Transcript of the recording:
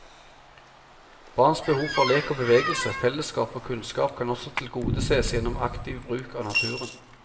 Barns behov for lek og bevegelse, fellesskap og kunnskap kan også tilgodeses gjennom aktiv bruk av naturen.